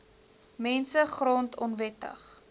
mense grond onwettig